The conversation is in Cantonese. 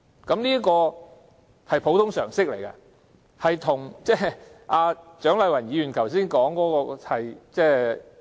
這是普通常識，有別於蔣麗芸議員剛才所說的。